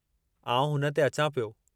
आउं हुन ते अचां पियो।